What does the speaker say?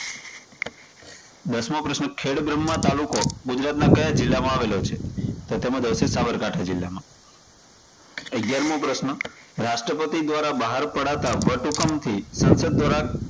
દશમો પ્રશ્ન, ખેડબ્રહ્મા તાલુકો ગુજરાતના કયા જિલ્લા માં આવેલો છે? તો તેમાં જવાબ આવશે સાબરકાંઠા જિલ્લામાં. અગિયારમો પ્રશ્ન, રાષ્ટ્રપતિ દ્વારા બહાર પડાતા વટ હુકમ થી સંસદ દ્વારા